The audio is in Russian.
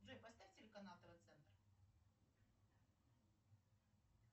джой поставь телеканал тв центр